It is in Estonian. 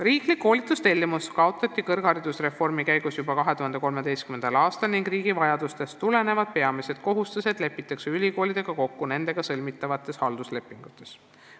" Riiklik koolitustellimus kaotati kõrgharidusreformi käigus juba 2013. aastal ning riigi vajadustest tulenevad peamised kohustused lepitakse ülikoolidega kokku nendega sõlmitavates halduslepingutes.